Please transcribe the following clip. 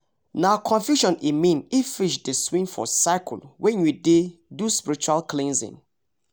nah confusion e mean if fish dey swim for circle when you dey do spiritual cleansing